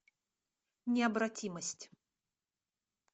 необратимость